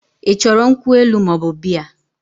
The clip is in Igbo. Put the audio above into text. I choro nkwu elu moobu Bea?